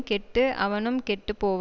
கெட்டு அவனும் கெட்டு போவான்